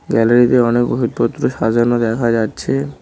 গ্যালারিতে অনেক ওষুধপত্র সাজানো দেখা যাচ্ছে।